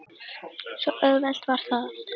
Svo auðvelt var það.